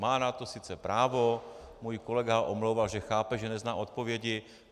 Má na to sice právo, můj kolega ho omlouval, že chápe, že nezná odpovědi.